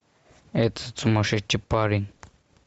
этот сумасшедший парень